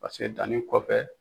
danni kɔfɛ